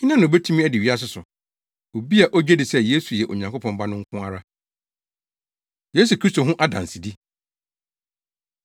Hena na obetumi adi wiase so? Obi a ogye di sɛ Yesu yɛ Onyankopɔn Ba no nko ara. Yesu Kristo Ho Adansedi